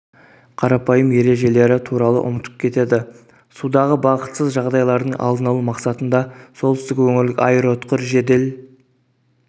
қарапайым ережелері туралы ұмытып кетеді судағы бақытсыз жағдайлардың алдын алу мақсатында солтүстік өңірлік аэроұтқыр жедел